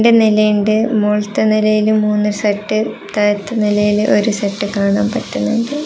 രണ്ടു നിലയുണ്ട് മോളിലത്തെ നിലയില് മൂന്നു സെറ്റ് അത്താഴത്തെ നിലയില് ഒരു സെറ്റ് കാണാൻ പറ്റുന്നുണ്ട്.